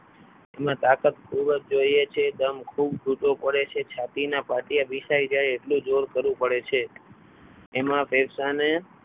એમાં તાકાત ખૂબ જ જોઈએ છે દમ ખૂબ ઘૂંટવો પડે છે છાતીના પાટિયા ભિસાઈ જાય એટલું જોર કરવું પડે છે એમાં ફેફસાને